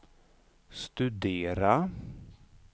studera